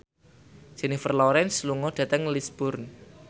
Jennifer Lawrence lunga dhateng Lisburn